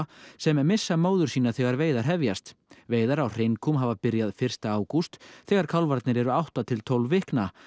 sem missa móður sína þegar veiðar hefjast veiðar á hreinkúm hafa byrjað fyrsta ágúst þegar kálfarnir eru átta til tólf vikna